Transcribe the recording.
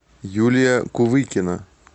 юлия кувыкина